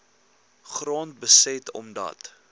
grond beset omdat